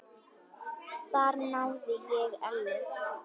Þar náði ég Ellu.